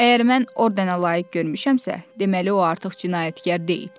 Əgər mən ordena layiq görmüşəmsə, deməli o artıq cinayətkar deyil.